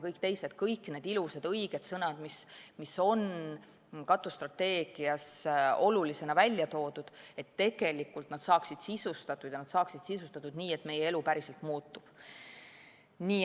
Kõik need ja teised ilusad ja õiged sõnad, mis on katusstrateegias olulisena välja toodud, peaksid tegelikult saama sisustatud ja sisustatud nii, et meie elu päriselt muutuks.